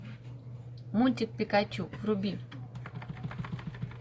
мультик пикачу вруби